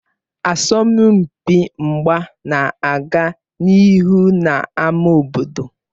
Asọmpi mgba na-aga n'ihu n'ámá obodo